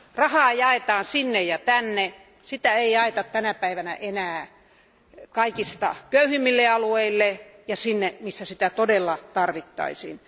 Rahaa jaetaan sinne ja tänne, sitä ei jaeta tänä päivänä enää kaikista köyhimmille alueille ja sinne, missä sitä todella tarvittaisiin.